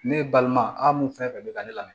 Ne balima a mun fɛn fɛn bɛ ka ne lamɛn